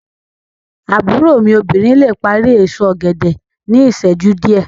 Àbúrò mí obìnrin le parí èso ògèdè ní ìsẹ́jú díẹ̀